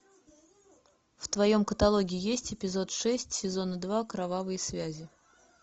в твоем каталоге есть эпизод шесть сезона два кровавые связи